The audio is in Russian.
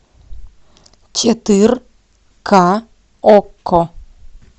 четыр ка окко